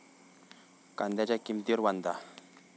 कांद्याच्या किंमतीवरून 'वांधा'!